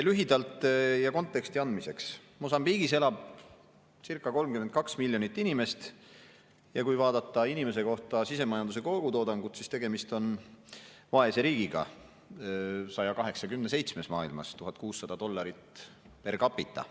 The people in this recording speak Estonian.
Lühidalt ja konteksti andmiseks, Mosambiigis elab circa 32 miljonit inimest ja kui vaadata inimese kohta sisemajanduse kogutoodangut, siis tegemist on vaese riigiga, maailmas 187. kohal, 1600 dollarit per capita.